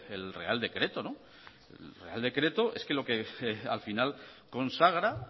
el real decreto el real decreto es que lo que al final consagra